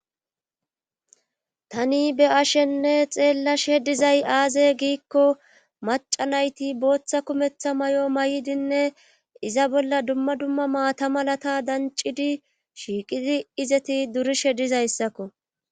tani beyashenne xeellashe dizay aaze giikko maca nayti booththa kumeththa mayo mayidinne iza bolla dumma dumma maata malata dancidi shiiqidi izeti durishe dizayssakko.